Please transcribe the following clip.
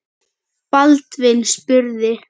Baldvin spurði